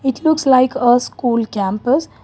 It looks like a school campus.